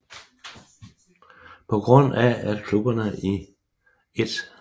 På grund af at klubberne i 1